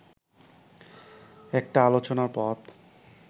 একটা আলোচনার পথ